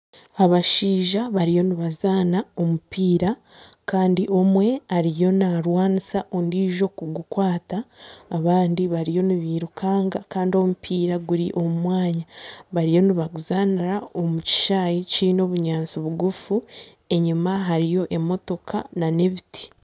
Abashaija bariyo nibazaana omupiira kandi omwe ariyo naarwanisa ondiijo kugukwata abandi bariyo nibairukanga kandi omupiira guri omu mwanya bariyo nibaguzaanira omu kishanyi kiine obunyaatsi bugufu, enyima hariyo emotoka nana ebiti